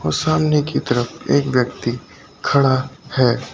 सामने की तरफ एक व्यक्ति खड़ा है।